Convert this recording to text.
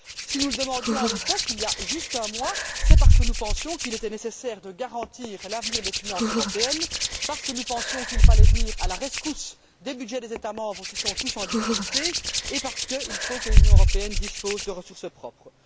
Si nous le demandions à l'époque, il y a juste un mois, c'est parce que nous pensions qu'il était nécessaire de garantir l'avenir des finances européennes, parce que nous pensions qu'il fallait venir à la rescousse des budgets des États membres qui sont tous en difficulté et parce qu'il faut que l'Union européenne dispose de ressources propres.